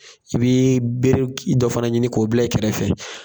I bɛ bere dɔ fana ɲini k'o bila i kɛrɛfɛ